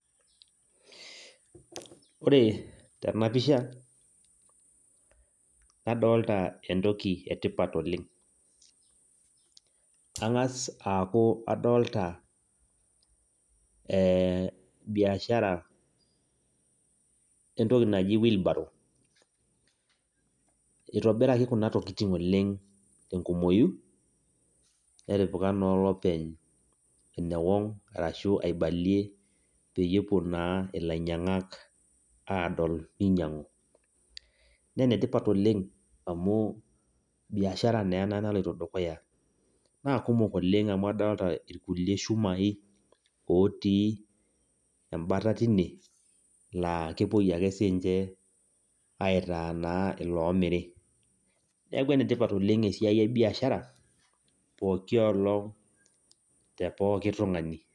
Ore tenapisha, nadolta entoki etipat oleng. Ang'as aku adolta biashara entoki naji wheelbarrow. Itobiraki kuna tokiting oleng' tenkumoyu, netipika naa olopeny enewong' arashu aibalie peyie epuo naa ilainyang'ak adol ninyang'u. Nenetipat oleng amu biashara naa ena naloito dukuya. Na kumok oleng amu adolta irkulie shumai otii ebata tine, la kepoi ake sinche aitaa naa loomiri. Neeku enetipat oleng esiai ebiashara, pooki olong' te pooki tung'ani.